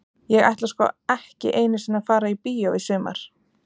Ég ætla sko ekki einu sinni að fara í bíó í sumar.